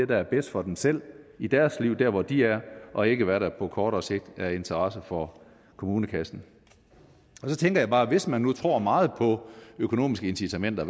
der er bedst for dem selv i deres liv der hvor de er og ikke hvad der på kortere sigt er af interesse for kommunekassen så tænker jeg bare at hvis man nu tror meget på økonomiske incitamenter